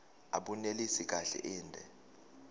abunelisi kahle inde